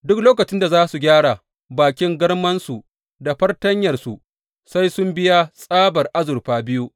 Duk lokacin da za su gyara bakin garmansu da fartanyarsu sai sun biya tsabar azurfa biyu.